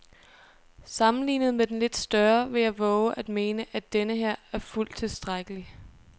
Sammenlignet med den lidt større vil jeg vove at mene, at denneher er fuldt tilstrækkelig.